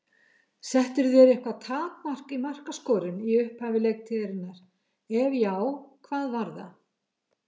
Settirðu þér eitthvað takmark í markaskorun í upphafi leiktíðarinnar, ef já, hvað var það?